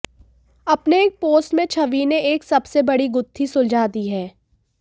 अपने एक पोस्ट में छवि ने एक सबसे बड़ी गुथ्थी सुलझा दी है